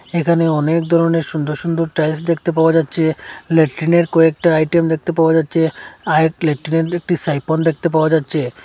এখানে অনেক ধরনের সুন্দর সুন্দর টাইলস দেখতে পাওয়া যাচ্ছে লেট্রিনের কয়েকটা আইটেম দেখতে পাওয়া যাচ্ছে আঃ এক লেট্রিনের একটি সাইপন দেখতে পাওয়া যাচ্ছে।